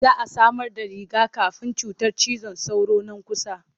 Za a samarda riga-kafin cutar cizon sauro nan kusa.